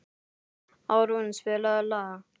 Árún, spilaðu lag.